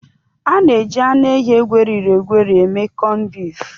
A na-eji anụ ehi egwerịrị egwerị eme kọnbif